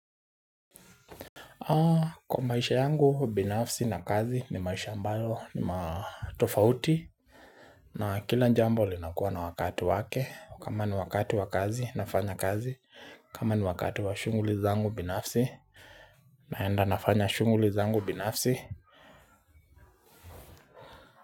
Kwa maisha yangu, binafsi na kazi ni maisha ambayo ni matofauti na kila jambo linakuwa na wakati wake kama ni wakati wa kazi nafanya kazi kama ni wakati wa shughuli zangu binafsi naenda nafanya shughuli zangu binafsi.